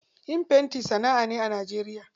Yin fenti sana'a ce a Najeriya.